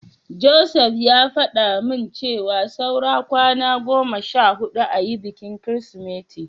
Joseph ya faɗa min cewa saura kwana goma sha huɗu ayi bikin Kirsimeti.